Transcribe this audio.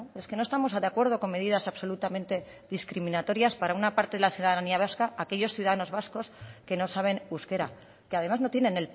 es que no estamos de acuerdo con medidas absolutamente discriminatorias para una parte de la ciudadanía vasca aquellos ciudadanos vascos que no saben euskera que además no tienen